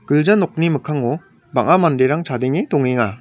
gilja nokni mikkango bang·a manderang chadenge dongenga.